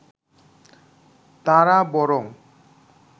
তাঁরা বরং